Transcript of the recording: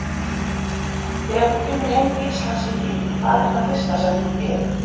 Þegar þú kemur heim til Íslands í frí, hvað er það fyrsta sem þú gerir?